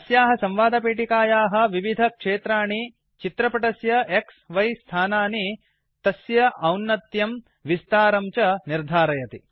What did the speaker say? अस्याः संवेदपेटिकायाः विविधक्षेत्राणि चित्रपटस्य X Y स्थानानि तस्य औन्नत्यं विस्तारं च निर्धारयति